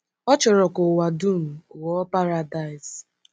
Ọ chọrọ ka ụwa dum ghọọ Paradaịs.